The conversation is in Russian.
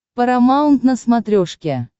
парамаунт на смотрешке